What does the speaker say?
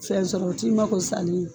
Fɛn sɔrɔ o t'i ma ko salen ye